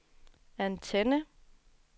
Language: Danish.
antenne